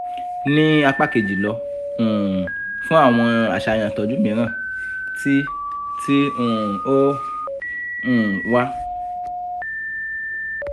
ni apa keji lọ um fun awọn aṣayan itọju miiran ti ti um o um wa